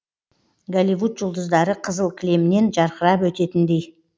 голивуд жұлдыздары қызыл кілемнен жарқырап өтетіндей